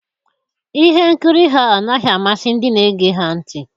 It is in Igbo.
Ihe nkiri ha anaghị amasị ndị na-ege ha ntị